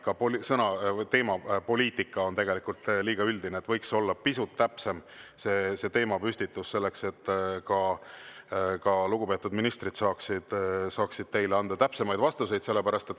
Ka "Poliitika" on tegelikult liiga üldine, võiks olla pisut täpsem see teemapüstitus selleks, et lugupeetud ministrid saaksid teile anda täpsemaid vastuseid.